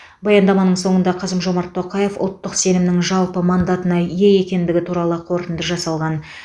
баяндаманың соңында қасым жомарт тоқаев ұлттық сенімнің жалпы мандатына ие екендігі туралы қорытынды жасалған